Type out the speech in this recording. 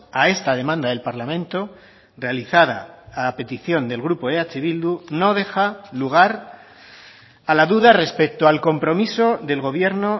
a esta demanda del parlamento realizada a petición del grupo eh bildu no deja lugar a la duda respecto al compromiso del gobierno